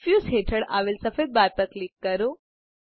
diffuse હેઠળ આવેલ સફેદ બાર પર ક્લિક કરો